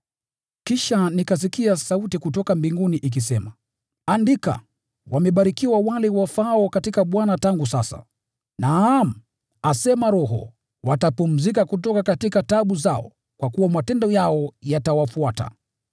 Kisha nikasikia sauti kutoka mbinguni ikisema, “Andika: Wamebarikiwa wafu wafao katika Bwana tangu sasa.” “Naam,” asema Roho, “watapumzika kutoka taabu zao, kwa kuwa matendo yao yatawafuata.”